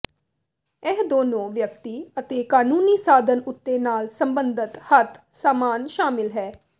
ਇਹ ਦੋਨੋ ਵਿਅਕਤੀ ਅਤੇ ਕਾਨੂੰਨੀ ਸਾਧਨ ਉਥੇ ਨਾਲ ਸਬੰਧਤ ਹੱਥ ਸਾਮਾਨ ਸ਼ਾਮਿਲ ਹੈ